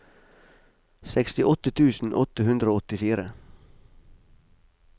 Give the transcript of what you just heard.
sekstiåtte tusen åtte hundre og åttifire